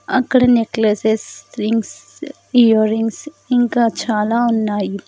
అక్కడ necklaces rings earrings ఇంకా చాలా ఉన్నాయి.